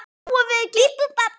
Mikinn bobba.